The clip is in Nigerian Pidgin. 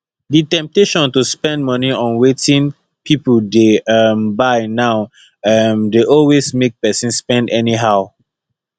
di temptation to spend money on wetin people dey um buy now um dey always make person spend anyhow